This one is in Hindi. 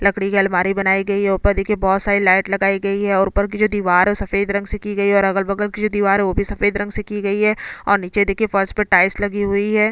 लकडी की अलमारी बनाई गई है और ऊपर देखिये बोहोत सारी लाइट लगाई गई है और ऊपर की जो दीवार है ओ सफ़ेद रंग से की गई है और अगल बगल की जो दीवार है ओ भी सफ़ेद रंग से की गई है और नीचे देखिये फर्श पर टाइल्स लगी हुई है।